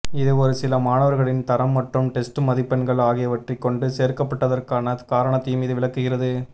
இது ஒரு சில மாணவர்களின் தரம் மற்றும் டெஸ்ட் மதிப்பெண்கள் ஆகியவற்றைக் கொண்டு சேர்க்கப்பட்டதற்கான காரணத்தையும் இது விளக்குகிறது